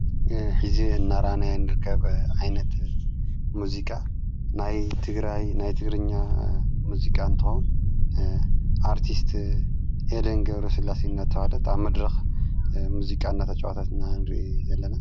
ሕዚ እናራእይና ንርከብ ዓይነት ሙዚቃ ናይ ትግራይ ናይ ትግርኛ ሙዚቃ እንትኮን። ኣርቲስት ኤደን ገብረስላሴ እናተብሃለት ኣብ መድረኽ ሙዚቃ እናተ ጨዋተት እና እንርእየ ዘለና።